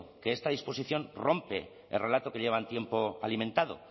que esta disposición rompe el relato que llevan tiempo alimentando